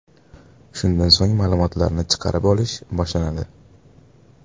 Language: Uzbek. Shundan so‘ng ma’lumotlarni chiqarib olish boshlanadi.